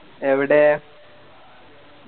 എവിടെ